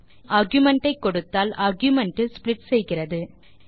மேலும் ஆர்குமென்ட் ஐ கொடுத்தால் ஆர்குமென்ட் இல் splitசெய்கிறது